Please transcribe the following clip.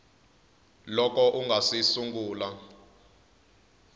loko u nga si sungula